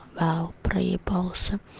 вау проебался